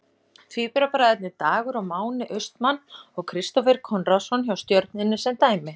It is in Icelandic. Tvíburabræðurnir Dagur og Máni Austmann og Kristófer Konráðsson hjá Stjörnunni sem dæmi.